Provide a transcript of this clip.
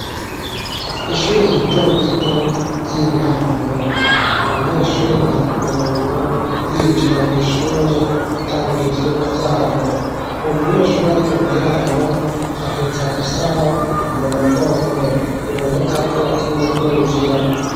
Ishure ritorito ry'intango, abanyeshure bari ku murongo, binjira mw'ishure gutangura ivyigwa vyabo, umunyeshure ari inyuma yabo ahetse agasaho mu mugongo, biboneka ko yatinye kwinjira.